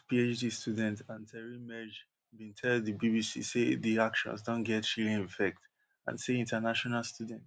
tufts phd student anteri mejr bin tell di bbc say di actions don get chilling effect and say international students